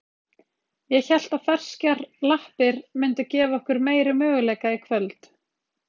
Ég hélt að ferskar lappir myndu gefa okkur meiri möguleika í kvöld.